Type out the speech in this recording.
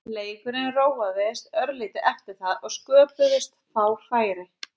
Leikurinn róaðist örlítið eftir það og sköpuðust fá færi.